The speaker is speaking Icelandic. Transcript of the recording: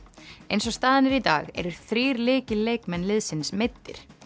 eins og staðan er í dag eru þrír lykilleikmenn liðsins meiddir